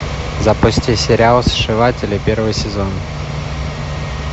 запусти сериал сшиватели первый сезон